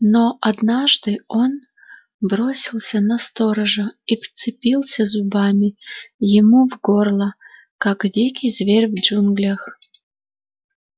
но однажды он бросился на сторожа и вцепился зубами ему в горло как дикий зверь в джунглях